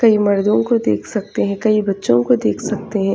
कई मर्दो को देख सकते है कई बच्चों को देख सकते हैं।